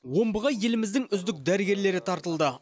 омбыға еліміздің үздік дәрігерлері тартылды